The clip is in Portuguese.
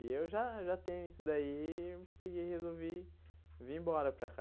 E eu já já tenho isso daí, peguei e resolvi vir embora para cá.